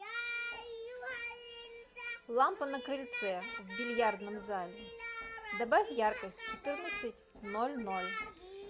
лампа на крыльце в бильярдном зале добавь яркость в четырнадцать ноль ноль